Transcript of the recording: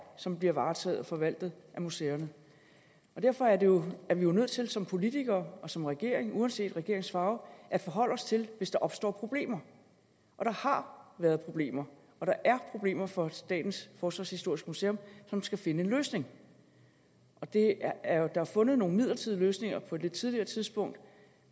som bliver varetaget og forvaltet af museerne derfor er vi jo nødt til som politikere og som regering uanset regeringens farve at forholde os til det hvis der opstår problemer og der har været problemer og der er problemer for statens forsvarshistoriske museum som skal finde en løsning der er fundet nogle midlertidige løsninger på et lidt tidligere tidspunkt